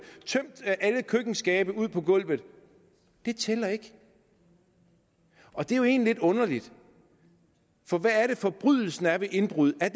tømt alle køkkenskabe ud på gulvet tæller ikke og det er jo egentlig lidt underligt for hvad er det forbrydelsen er ved indbrud er